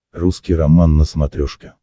русский роман на смотрешке